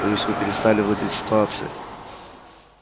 боюсь вы перестали владеть ситуацией